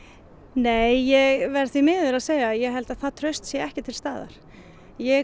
nei verð því miður að segja að ég held að það traust sé ekki til staðar ég